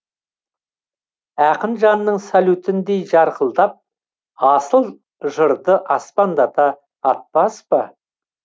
ақын жанның салютіндей жарқылдатып асыл жырды аспандата атпас па